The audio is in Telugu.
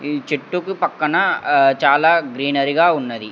ఈ చెట్టుకు పక్కన అహ్ చాలా గ్రీనరీగా ఉన్నది.